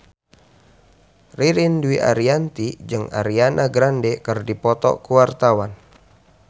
Ririn Dwi Ariyanti jeung Ariana Grande keur dipoto ku wartawan